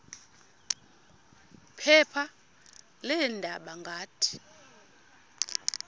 phepha leendaba ngathi